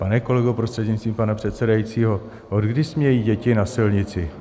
Pane kolego, prostřednictvím pana předsedajícího, odkdy smějí děti na silnici?